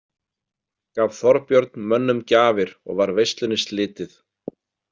Gaf Þorbjörn mönnum gjafir og var veislunni slitið.